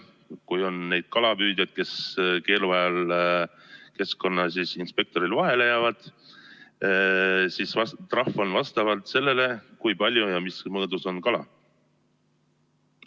Kui on neid kalapüüdjaid, kes keeluajal keskkonnainspektorile vahele jäävad, siis on trahv vastavalt sellele, kui palju ja mis mõõdus on kala.